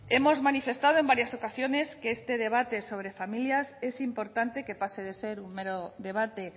hemos manifestado en varias ocasiones que este debate sobre familias es importante que pase de ser un mero debate